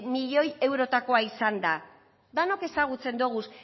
miloi eurotakoa izan da denok ezagutzen ditugu